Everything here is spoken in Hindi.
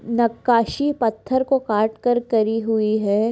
नक् खासी पत्थर को खाट कर करी हुई है।